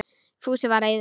Fúsi var reiður.